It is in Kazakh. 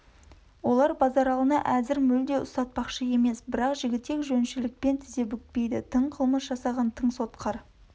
олар базаралыны әзір мүлде ұстатпақшы емес бірақ жігітек жөншілікпен тізе бүкпейді тың қылмыс жасағаң тың сотқар